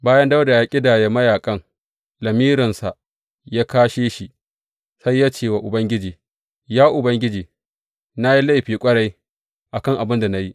Bayan Dawuda ya ƙidaya mayaƙan, lamirinsa ya kāshe shi, sai ya ce wa Ubangiji, Ya Ubangiji na yi laifi ƙwarai a kan abin da na yi.